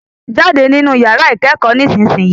Jáde nínu yàrá ìkẹ́kọ̀ọ́ nísìsiyìí.